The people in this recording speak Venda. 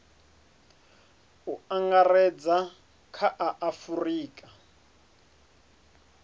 u angaredza kha a afurika